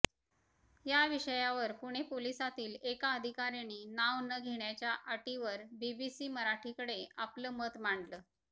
याविषयावर पुणे पोलिसातील एका अधिकाऱ्याने नाव न घेण्याच्या अटीवर बीबीसी मराठीकडे आपलं मत मांडलं